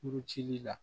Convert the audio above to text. Kuruci la